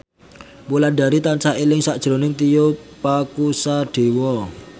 Wulandari tansah eling sakjroning Tio Pakusadewo